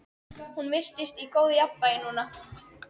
Hún virtist í góðu jafnvægi núna.